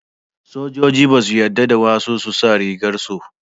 sojoji ba su yarda wasu su sa rigar su